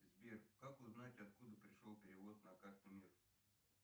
сбер как узнать откуда пришел перевод на карту мир